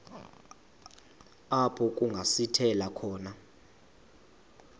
apho kungasithela khona